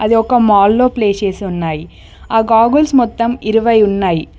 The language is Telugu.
అది ఒక మాల్ లో ప్లేస్ చేసి ఉన్నాయి గోగుల్స్ మొత్తం ఇరవై ఉన్నాయి.